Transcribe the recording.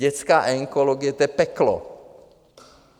Dětská onkologie, to je peklo.